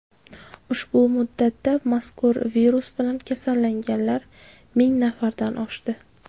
Ushbu muddatda mazkur virus bilan kasallanganlar ming nafardan oshdi.